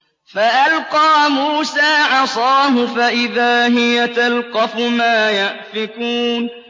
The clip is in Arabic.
فَأَلْقَىٰ مُوسَىٰ عَصَاهُ فَإِذَا هِيَ تَلْقَفُ مَا يَأْفِكُونَ